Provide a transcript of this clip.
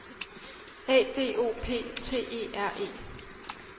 A D O P T E R E